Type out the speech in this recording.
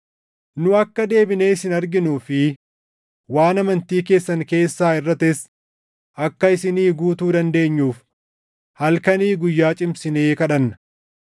Nu akka deebinee isin arginuu fi waan amantii keessan keessaa hirʼates akka isinii guutuu dandeenyuuf halkanii guyyaa cimsinee kadhanna.